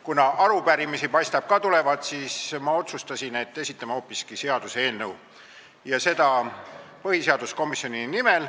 Kuna arupärimisi paistab ka tulevat, siis ma otsustasin, et esitame hoopiski seaduseelnõu põhiseaduskomisjoni nimel.